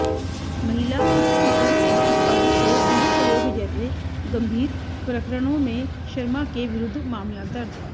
महिला उत्पीड़न और पद के दुरुपयोग जैसे गंभीर प्रकरणों में शर्मा के विरुद्ध मामला दर्ज